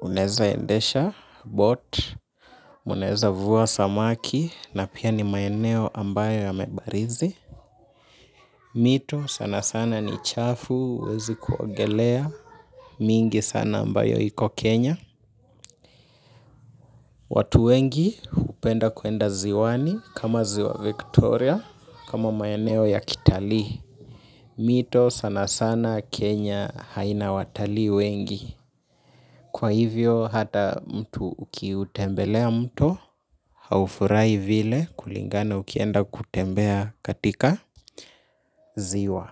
hunaeza endesha boat, munaeza vua samaki na pia ni maeneo ambayo yamebarizi. Mito sana sana ni chafu huwezi kuogelea mingi sana ambayo iko Kenya. Watu wengi hupenda kuenda ziwani kama ziwa Victoria kama maeneo ya kitalii. Mito sana sana Kenya haina watalii wengi. Kwa hivyo hata mtu ukiutembelea mto haufurahi vile kulingana ukienda kutembea katika ziwa.